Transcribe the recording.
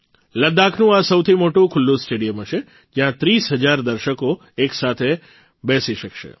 લદ્દાખનું આ સૌથી મોટું ખુલ્લું સ્ટેડિયમ હશે જયાં ૩૦ હજાર દર્શકો એક સાથે બેસી શકશે